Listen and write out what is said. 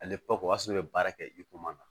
Ale o y'a sɔrɔ i be baara kɛ i koma na